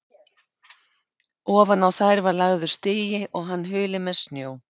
Ofan á þær var lagður strigi og hann hulinn með snjó.